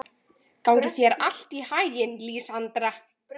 Gangi þér allt í haginn, Lísandra.